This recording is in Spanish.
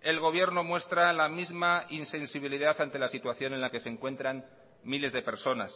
el gobierno muestra la misma insensibilidad ante la situación en la que se encuentran miles de personas